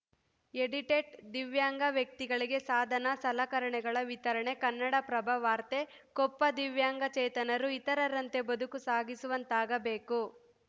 edited ದಿವ್ಯಾಂಗ ವ್ಯಕ್ತಿಗಳಿಗೆ ಸಾಧನ ಸಲಕರಣೆಗಳ ವಿತರಣೆ ಕನ್ನಡಪ್ರಭ ವಾರ್ತೆ ಕೊಪ್ಪ ದಿವ್ಯಾಂಗಚೇತನರು ಇತರರಂತೆ ಬದುಕು ಸಾಗಿಸುವಂತಾಗಬೇಕು